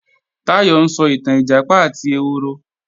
Táyọ̀ ń sọ ìtàn Ìjàpá àti ehoro